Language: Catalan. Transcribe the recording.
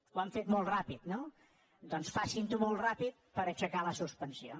ho han fet molt ràpid no doncs facinho molt ràpid per aixecar la suspensió